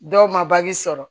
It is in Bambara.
Dɔw ma sɔrɔ